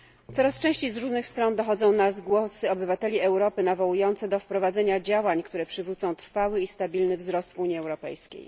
Coraz częściej z różnych stron dochodzą nas głosy obywateli Europy nawołujące do wprowadzenia działań, które przywrócą trwały i stabilny wzrost Unii Europejskiej.